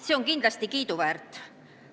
See on kindlasti kiiduväärt.